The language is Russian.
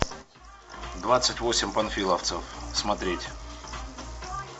двадцать восемь панфиловцев смотреть